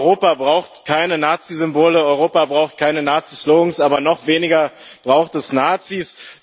Europa braucht keine Nazisymbole, Europa braucht keine Nazislogans, aber noch weniger braucht es Nazis.